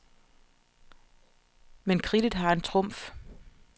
Men kridtet har en trumf.